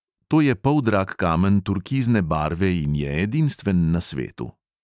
To je poldrag kamen turkizne barve in je edinstven na svetu.